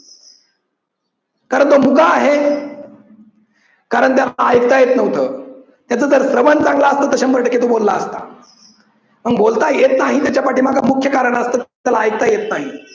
कारण तो मुका आहे कारण त्याला ऐकता येत नव्हतं त्याच जर श्रवण चांगलं असतं तर शंभर टक्के तर बोलला असता पण बोलता येत नाही त्याच्या पाठीमागं मुख्य कारण असतं त्याला ऐकता येत नाही.